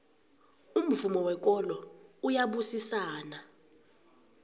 umvumo wekolo uyabusisana